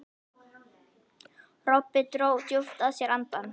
Kobbi dró djúpt að sér andann.